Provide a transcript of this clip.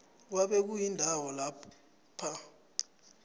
kwabe kuyindawo lapha